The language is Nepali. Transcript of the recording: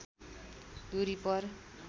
दूरी पर